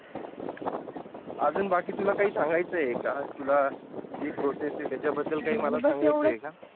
आजून बाकी तुला काही सांगायचंय का तुला जी Process आहे त्याच्या बद्दल मला काय सांगायच आहे का